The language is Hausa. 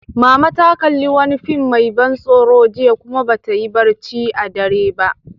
Mama ta kalli wani fim mai ban tsoro jiya, kuma ba ta yi barci a dare ba.